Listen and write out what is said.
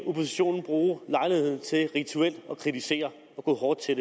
oppositionen bruge lejligheden til rituelt at kritisere og gå hårdt til